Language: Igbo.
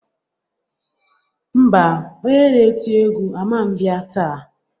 Ḿbà, onye na-eti egwu aman bịa taa.